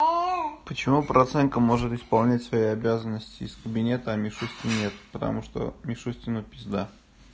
почему проценко может исполнять свои обязанности из кабинета а мишутке нет потому что мишустину пизда